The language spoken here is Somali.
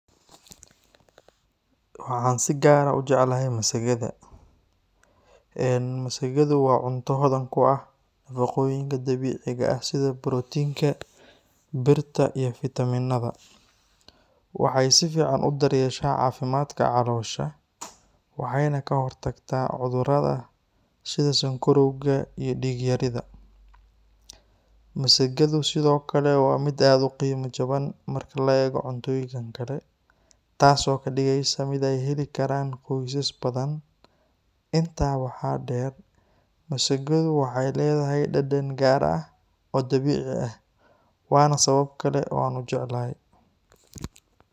Waxaan si gaar ah u jeclahay masagada. Eeen masagadu waa cunto hodan ku ah nafaqooyinka dabiiciga ah sida borotiinka, birta, iyo fiitamiinada. Waxa ay si fiican u daryeeshaa caafimaadka caloosha, waxayna ka hortagtaa cudurrada sida sonkorowga iyo dhiigyarida. Masagadu sidoo kale waa mid aad u qiimo jaban marka loo eego cuntooyinka kale, taasoo ka dhigaysa mid ay heli karaan qoysas badan. Intaa waxaa dheer, masagadu waxay leedahay dhadhan gaar ah oo dabiici ah, waana sabab kale oo aan u jeclahay.